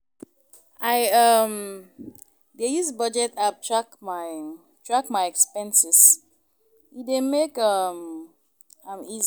I um dey use budget app track my track my expenses, e dey make um am easy.